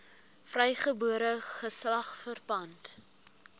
vrygebore geslag verpand